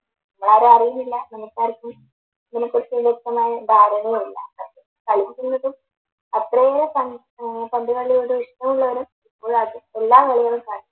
നമ്മളാരും അറിയുന്നില്ല നമുക്ക് ആർക്കും ഇതിനെക്കുറിച്ച് വ്യക്തമായ ധാരണയുമില്ല അത്രയേറെ ആഹ് പന്ത് കളിയോട് ഇഷ്ടമുള്ളവരും ഇപ്പോഴും അത് എല്ലാ കളികളും കാണുന്നുണ്ട്